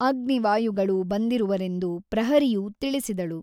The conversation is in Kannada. ಅಗ್ನಿ ವಾಯುಗಳು ಬಂದಿರುವರೆಂದು ಪ್ರಹರಿಯು ತಿಳಿಸಿದಳು.